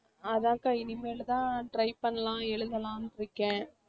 அதான்க்கா இனிமேல் தான் try பண்ணலாம் எழுதலாம்னு இருக்கேன்